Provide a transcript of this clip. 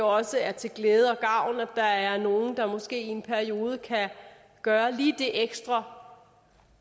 også er til glæde og gavn at der er nogle der måske i en periode kan gøre lige det ekstra